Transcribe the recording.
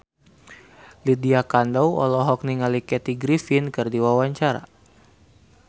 Lydia Kandou olohok ningali Kathy Griffin keur diwawancara